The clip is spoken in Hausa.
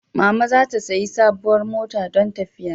Mama za ta sayi sabuwar mota dan tafiya